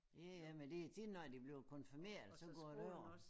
Ja ja men det tit når de bliver konfirmeret så går det over